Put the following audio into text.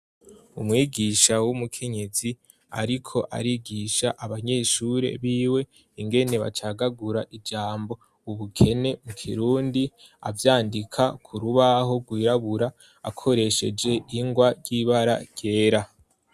Umwigisha w'umukenyezi ariko arigisha abanyeshuri biwe ingene bacagagura ijambo "ubukene " mu Kirundi, avyandika ku rubaho rwirabura akoresheje ingwa ry'ibara ryera.